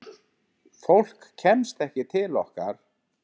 Fólk kemst ekki til okkar.